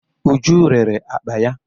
Uju rere akpa ya.